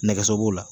Nɛgɛso b'o la